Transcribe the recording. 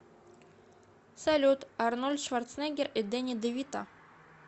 салют арнольд шварцнегер и дени девито